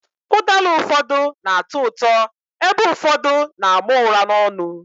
Ụdala ụfọdụ na atọ ụtọ, ebe ụfọdụ na àmà ụra n'onu